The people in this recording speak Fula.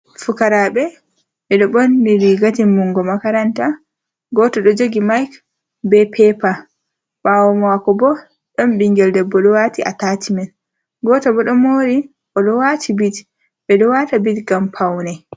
fukaraɓe, ɓe ɗo ɓorni riga timmungo makaranta. Goto ɗo jogi maik be pepa. Ɓaawo mako bo, ɗon ɓingel debbo o ɗo wati atashmen. Goto bo ɗo mori, o ɗo wati bit. Ɓe ɗo wata bit ngam paune.